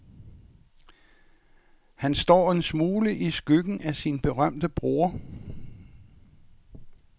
Han står en smule i skyggen af sin berømte bror.